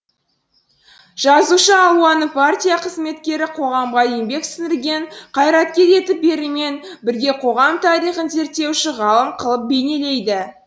жазушы алуаны партия қызметкері қоғамға еңбек сіңірген қайраткер етіп берумен бірге қоғам тарихын зерттеуші ғалым қылып бейнелейді